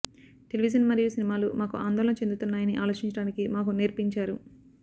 television మరియు సినిమాలు మాకు ఆందోళన చెందుతున్నాయని ఆలోచించడానికి మాకు నేర్పించారు